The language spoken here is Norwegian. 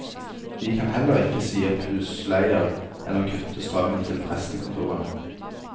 Vi kan heller ikke si opp husleier eller kutte strømmen til prestekontorene.